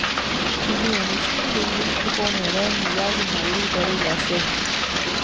I begynnelsen vil du ikke få med deg mye av innholdet i det du leser.